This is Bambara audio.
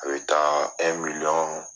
A bɛ taa